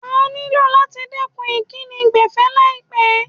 Wà nílò láti dẹ̀kun ìkíni gbẹ̀fẹ́ láìlpẹ́.